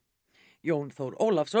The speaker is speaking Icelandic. Jón Þór Ólafsson